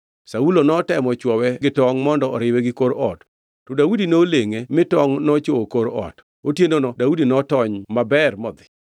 Saulo notemo chwowe gi tongʼ mondo oriwe gi kor ot, to Daudi nolengʼe mi tongʼ nochwowo kor ot. Otienono Daudi notony maber modhi.